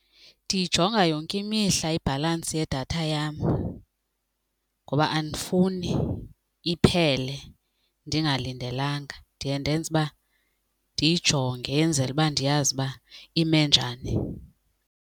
Ndiyijonga yonke imihla ibhalansi yedatha yam ngoba andifuni iphele ndingalindelanga. Ndiye ndenze uba ndiyijonge enzele uba ndiyazi uba ime njani.